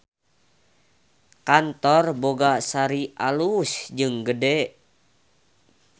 Kantor Boga Sari alus jeung gede